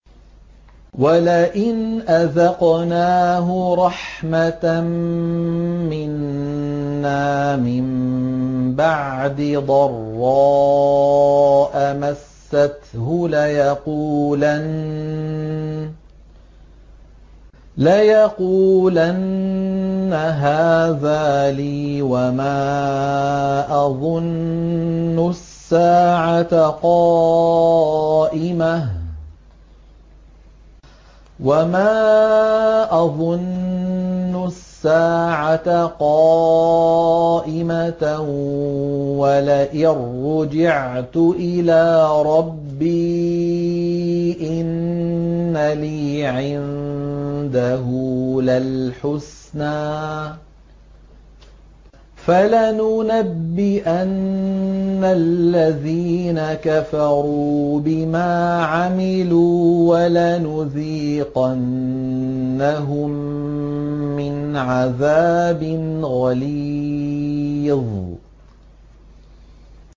وَلَئِنْ أَذَقْنَاهُ رَحْمَةً مِّنَّا مِن بَعْدِ ضَرَّاءَ مَسَّتْهُ لَيَقُولَنَّ هَٰذَا لِي وَمَا أَظُنُّ السَّاعَةَ قَائِمَةً وَلَئِن رُّجِعْتُ إِلَىٰ رَبِّي إِنَّ لِي عِندَهُ لَلْحُسْنَىٰ ۚ فَلَنُنَبِّئَنَّ الَّذِينَ كَفَرُوا بِمَا عَمِلُوا وَلَنُذِيقَنَّهُم مِّنْ عَذَابٍ غَلِيظٍ